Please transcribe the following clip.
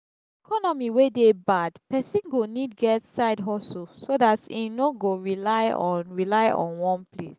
economy wey de bad persin go need get side hustle so that im no go rely on rely on one place